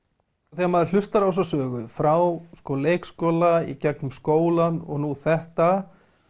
þegar maður hlustar á þessa sögu frá leikskóla í gegnum skólann og nú þetta